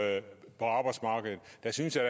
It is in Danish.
baserer sig